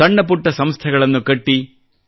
ಸಣ್ಣ ಪುಟ್ಟ ಸಂಸ್ಥೆಗಳನ್ನು ಕಟ್ಟಿ